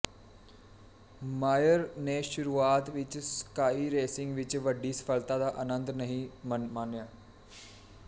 ਮਾਇਰ ਨੇ ਸ਼ੁਰੂਆਤ ਵਿੱਚ ਸਕਾਈ ਰੇਸਿੰਗ ਵਿੱਚ ਵੱਡੀ ਸਫਲਤਾ ਦਾ ਆਨੰਦ ਨਹੀਂ ਮਾਣਿਆ